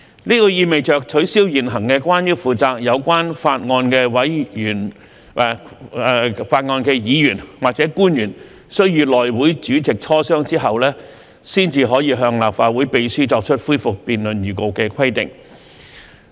這意味着取消現行關於負責有關法案的議員或官員須與內會主席磋商後，才可向立法會秘書作出恢復辯論預告的規定。